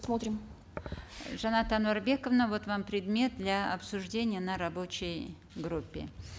смотрим жанат ануарбековна вот вам предмет для обсуждения на рабочей группе